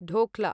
dhokla